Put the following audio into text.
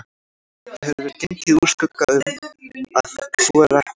Það hefur verið gengið úr skugga um, að svo er ekki